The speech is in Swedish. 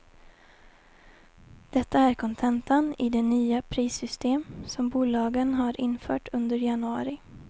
Detta är kontentan i de nya prissystem som bolagen har infört under januari.